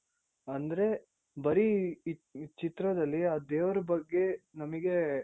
ಅಂದ್ರೆ ಈ ಚಿತ್ರದಲ್ಲಿ ದೇವರ ಬಗ್ಗೆ ನಮಿಗೆ